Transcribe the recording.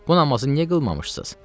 Bu namazı niyə qılmamısınız?